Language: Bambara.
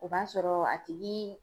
O b'a sɔrɔ a tigi